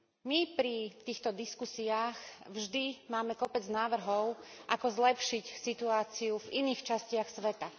My pri týchto diskusiách vždy máme kopec návrhov ako zlepšiť situáciu v iných častiach sveta.